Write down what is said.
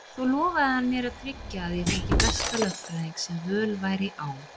Svo lofaði hann mér að tryggja að ég fengi besta lögfræðing sem völ væri á.